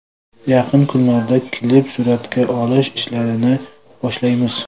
Yaqin kunlarda klip suratga olish ishlarini boshlaymiz.